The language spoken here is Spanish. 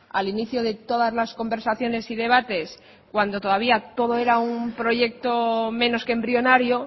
al inicio de todas las conversaciones y debates cuando todavía todo era un proyecto menos que embrionario